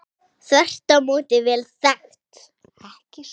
Þvert á móti vel þekkt.